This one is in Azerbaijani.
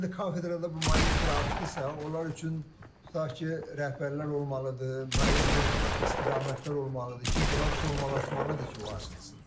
İndi kafedrada bu magistra açdısa, onlar üçün tutaq ki, rəhbərlər olmalıdır, müəyyən bir istiqamətlər olmalıdır ki, bunlar formalaşmalıdır ki, o açılsın.